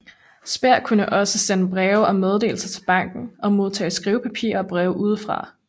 Speer kunne også sende breve og meddelelser til banken og modtage skrivepapir og breve udefra